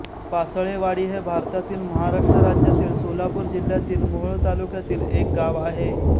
पासळेवाडी हे भारतातील महाराष्ट्र राज्यातील सोलापूर जिल्ह्यातील मोहोळ तालुक्यातील एक गाव आहे